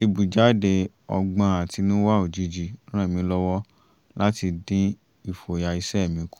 ìbújáde ọgbọ́n àtinúwá òjijì ràn mí lọ́wọ́ láti dín ìfòyà iṣẹ́ mi kù